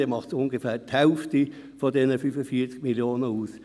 Dann macht es ungefähr die Hälfte dieser 45 Mio. Franken aus.